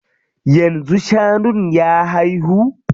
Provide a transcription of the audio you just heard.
Yanzu shanun ya haihu?